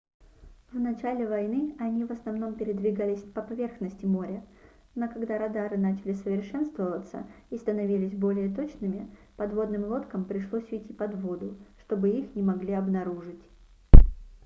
в начале войны они в основном передвигались по поверхности моря но когда радары начали совершенствоваться и становились более точными подводным лодкам пришлось уйти под воду чтобы их не могли обнаружить